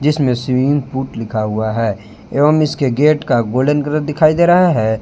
इसमें swimming pool लिखा हुआ है एवं इसके गेट का गोल्डन कलर दिखाई दे रहा है।